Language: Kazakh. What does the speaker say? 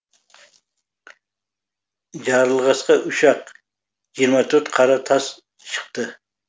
жарылғасқа үш ақ жиырма төрт қара тас шықты